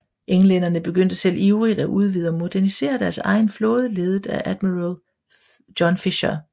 Englænderne begyndte selv ivrigt at udvide og modernisere deres egen flåde ledet af admiral John Fisher